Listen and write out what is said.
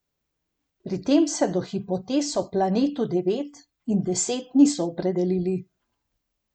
Pri tem se do hipotez o Planetu Devet in Deset niso opredelili.